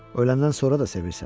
Öləndən sonra da sevirsən.